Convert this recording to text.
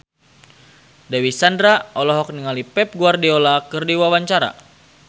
Dewi Sandra olohok ningali Pep Guardiola keur diwawancara